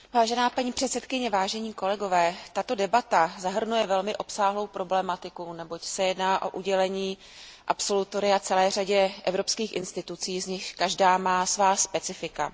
Vážená paní předsedající, tato debata zahrnuje velmi obsáhlou problematiku, neboť se jedná o udělení absolutoria celé řadě evropských institucí, z nichž každá má svá specifika.